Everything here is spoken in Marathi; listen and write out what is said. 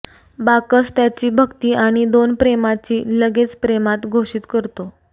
बाकस त्याची भक्ती आणि दोन प्रेमाची लगेच प्रेमात घोषित करतो